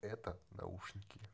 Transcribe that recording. это наушники